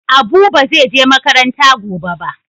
Abu ba zai je makaranta gobe ba.